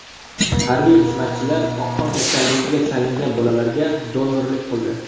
Harbiy xizmatchilar oqqon kasalligiga chalingan bolalarga donorlik qildi.